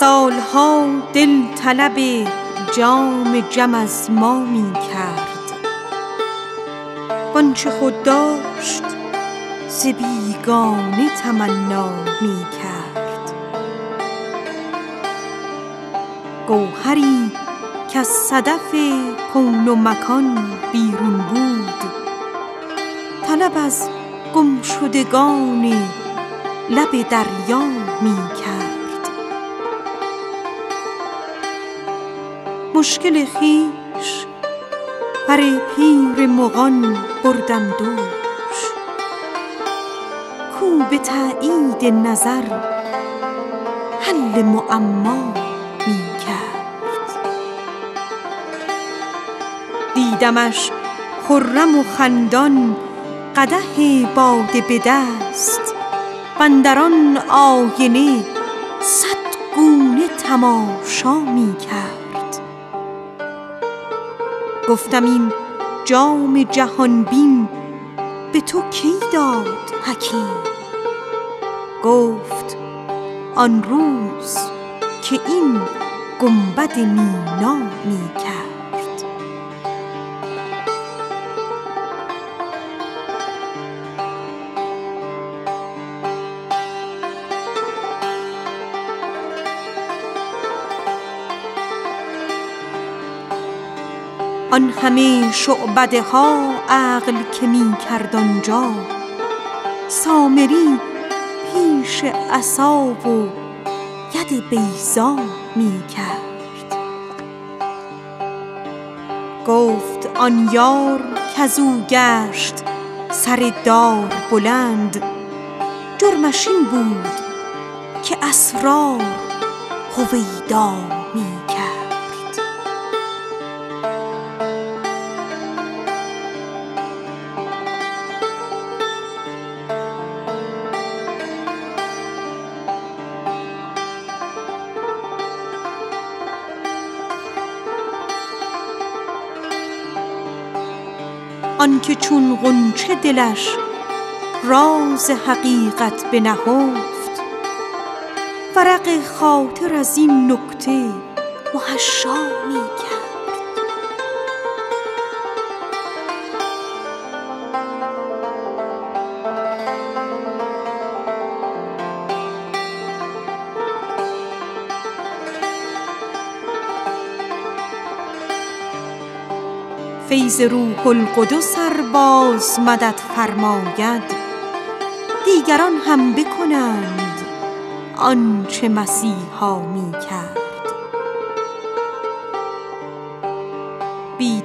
سال ها دل طلب جام جم از ما می کرد وآنچه خود داشت ز بیگانه تمنا می کرد گوهری کز صدف کون و مکان بیرون است طلب از گمشدگان لب دریا می کرد مشکل خویش بر پیر مغان بردم دوش کاو به تأیید نظر حل معما می کرد دیدمش خرم و خندان قدح باده به دست واندر آن آینه صد گونه تماشا می کرد گفتم این جام جهان بین به تو کی داد حکیم گفت آن روز که این گنبد مینا می کرد بی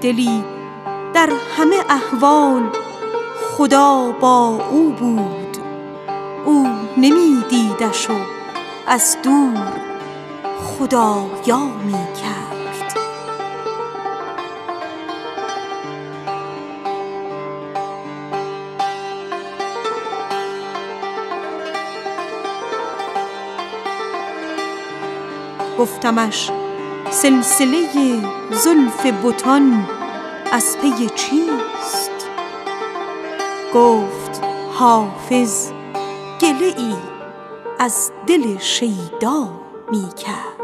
دلی در همه احوال خدا با او بود او نمی دیدش و از دور خدارا می کرد این همه شعبده خویش که می کرد اینجا سامری پیش عصا و ید بیضا می کرد گفت آن یار کز او گشت سر دار بلند جرمش این بود که اسرار هویدا می کرد فیض روح القدس ار باز مدد فرماید دیگران هم بکنند آن چه مسیحا می کرد گفتمش سلسله زلف بتان از پی چیست گفت حافظ گله ای از دل شیدا می کرد